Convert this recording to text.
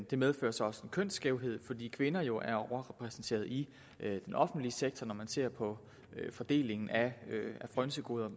det medfører så også en kønsskævhed fordi kvinder jo er overrepræsenteret i den offentlige sektor og når man ser på fordelingen af frynsegoder